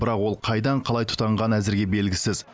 бірақ ол қайдан қалай тұтанғаны әзірге белгісіз